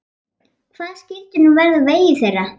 Hvað skyldi nú verða á vegi þeirra?